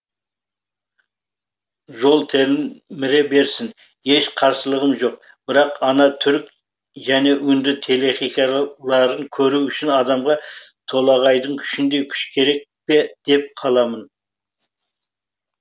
жоқ телміре берсін еш қарсылығым жоқ бірақ ана түрік және үнді телехикаяларын көру үшін адамға толағайдың күшіндей күш керек пе деп қаламын